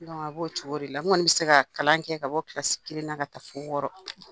A b'o cogo de la n kɔni bɛ se ka kalan kɛ ka bɔ kelen na ka taa fƆ wɔɔrɔ.